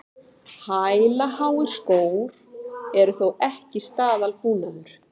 Hælaháir skór eru þó ekki staðalbúnaður